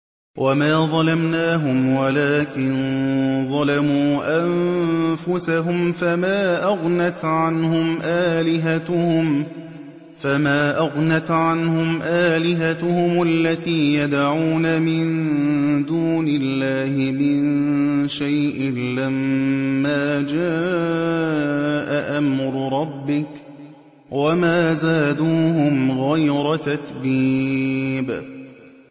وَمَا ظَلَمْنَاهُمْ وَلَٰكِن ظَلَمُوا أَنفُسَهُمْ ۖ فَمَا أَغْنَتْ عَنْهُمْ آلِهَتُهُمُ الَّتِي يَدْعُونَ مِن دُونِ اللَّهِ مِن شَيْءٍ لَّمَّا جَاءَ أَمْرُ رَبِّكَ ۖ وَمَا زَادُوهُمْ غَيْرَ تَتْبِيبٍ